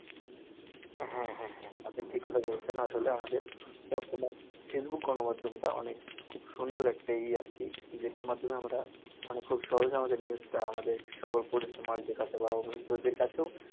হ্যাঁ হ্যাঁ হ্যাঁ আপনি ঠিক কথা বলেছেন, আসলে আমাদের কল্পনার ফেসবুক গনমাধ্যম টা অনেক খুব সুন্দর একটা ইয়ে আরকি, যেটার মাধ্যমে আমরা মানে খুব সহজে আমাদের news টা আমাদের সকল পরিচিত মানুষ দের কাছে বা অপরিচিতদের কাছেও